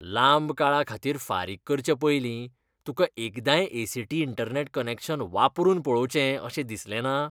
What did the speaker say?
लांब काळा खातीर फारीक करचे पयलीं तुका एकदांय A. C. T. Internet connection वापरून पळोवचें अशें दिसलेंना?